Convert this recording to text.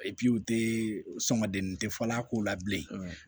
u tɛ sɔngɔ den tɛ fɔ a ko la bilen